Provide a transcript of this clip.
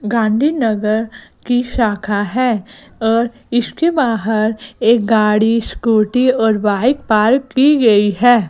गांधीनगर की शाखा है और इसके बाहर एक गाड़ी स्कूटी और बाइक पार्क की गई है।